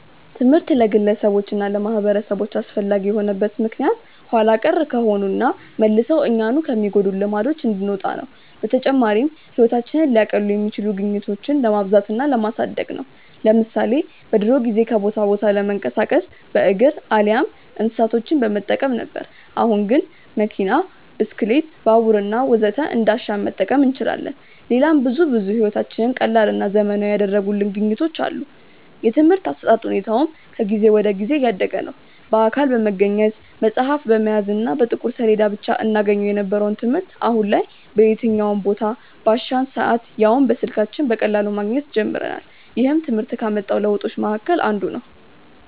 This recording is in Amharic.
ትምህርት ለግለሰቦች እና ለማህበረሰቦች አስፈላጊ የሆነበት ምክንያት ኋላ ቀር ከሆኑና መልሰው እኛኑ ከሚጎዱን ልማዶች እንድንወጣ ነው። በተጨማሪም ህይወታችንን ሊያቀሉ የሚችሉ ግኝቶችን ለማብዛት እና ለማሳደግ ነው። ለምሳሌ በድሮ ጊዜ ከቦታ ቦታ ለመንቀሳቀስ በእግር አሊያም እንስሳቶችን በመጠቀም ነበር። አሁን ግን መኪና፣ ብስክሌት፣ ባቡር ወዘተ እንዳሻን መጠቀም እንችላለን። ሌላም ብዙ ብዙ ህይወታችንን ቀላልና ዘመናዊ ያደረጉልን ግኝቶች አሉ። የትምርህት አሰጣጥ ሁኔታውም ከጊዜ ወደ ጊዜ እያደገ ነዉ። በአካል በመገኘት፣ መፅሀፍ በመያዝ እና በጥቁር ሰሌዳ ብቻ እናገኘው የነበረውን ትምህርት አሁን ላይ በየትኛውም ቦታ፣ ባሻን ሰአት ያውም በስልካችን በቀላሉ ማግኘት ጀምረናል። ይህም ትምህርት ካመጣው ለውጦች መሀከል አንዱ ነው።